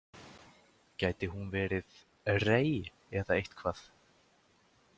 Gæti hún verið Rey eða eitthvað?